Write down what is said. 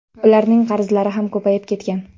Ularning qarzlari ham ko‘payib ketgan.